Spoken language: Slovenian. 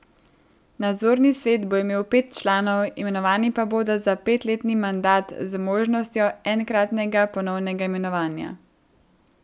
Nadzorni svet bo imel pet članov, imenovani pa bodo za petletni mandat z možnostjo enkratnega ponovnega imenovanja.